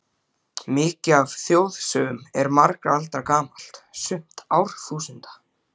Mikið af þjóðsögum er margra alda gamalt, sumt árþúsunda.